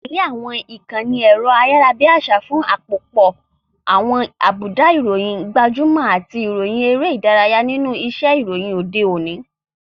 Tẹ̀lé àwọn ìkànnì ẹ̀rọ ayárabíàṣá fún àpòpọ̀ àwọn àbùdá, ìròyìn gbajúmọ̀, àti ìròyìn eré ìdárayá nínú iṣẹ́ ìròyìn òde òní.